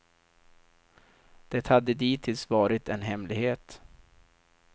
Det hade dittills varit en hemlighet.